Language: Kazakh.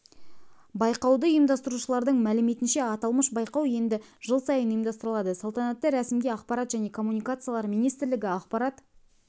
байқауды ұйымдастырушылардың мәліметінше аталмыш байқау енді жыл сайын ұйымдастырылады салтанатты рәсімге ақпарат және коммуникациялар министрлігі ақпарат